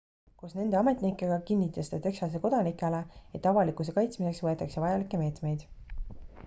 koos nende ametnikega kinnitas ta texase kodanikele et avalikkuse kaitsmiseks võetakse vajalikke meetmeid